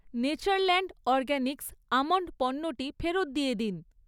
Natureland Organics almond পণ্যটি ফেরত দিয়ে দিন।